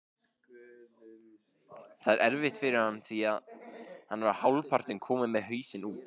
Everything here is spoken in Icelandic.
Það er erfitt fyrir hann því hann var hálfpartinn kominn með hausinn út.